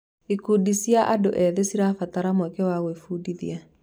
Ikundi cia andũ ethĩ cirabatara mweke wa gwĩbundithia.